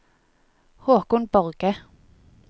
Håkon Borge